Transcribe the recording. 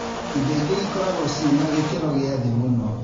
Indo ingĩ ikoragwo ciĩna gĩkĩro gĩa thĩ mũno